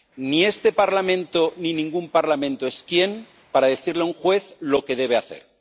Ni este Parlamento ni ningún Parlamento es quién para decirle a un juez lo que debe hacer.